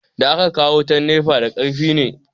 Da aka kawo wutan nefa da karfi ne